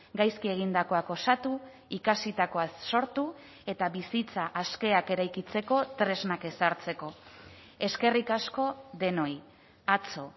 gaizki egindakoak osatu ikasitakoaz sortu eta bizitza askeak eraikitzeko tresnak ezartzeko eskerrik asko denoi atzo